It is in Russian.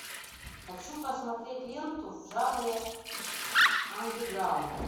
хочу посмотреть ленту в жанре андеграунд